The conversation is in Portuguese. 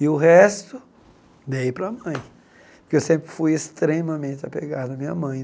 E o resto, dei para a mãe, porque eu sempre fui extremamente apegado à minha mãe.